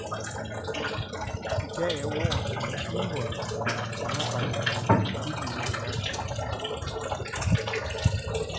I dag er ord som teamwork og samarbejdsevne gyldne i erhvervslivet.